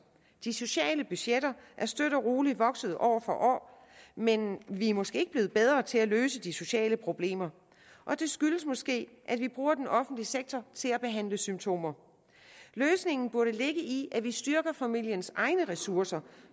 de sociale budgetter er støt og roligt vokset år for år men vi er måske ikke blevet bedre til at løse de sociale problemer og det skyldes måske at vi bruger den offentlige sektor til at behandle symptomer løsningen burde ligge i at vi styrker familiens egne ressourcer